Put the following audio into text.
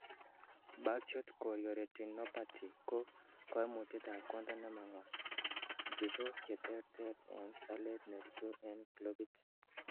Birdshot chorioretinopathy ko koimutietab konda nemang'wan, tisok cheterter en salet nerutu en clopit.